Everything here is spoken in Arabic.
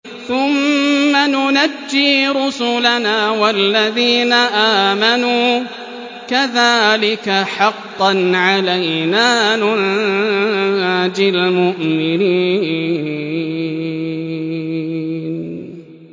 ثُمَّ نُنَجِّي رُسُلَنَا وَالَّذِينَ آمَنُوا ۚ كَذَٰلِكَ حَقًّا عَلَيْنَا نُنجِ الْمُؤْمِنِينَ